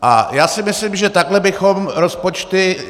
A já si myslím, že takhle bychom rozpočty...